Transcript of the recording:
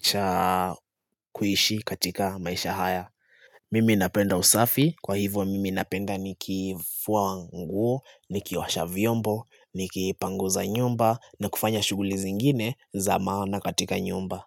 cha kuishi katika maisha haya. Mimi napenda usafi, kwa hivyo mimi napenda nikifua nguo, nikiosha vyombo, nikipanguza nyumba na kufanya shughuli zingine za maana katika nyumba.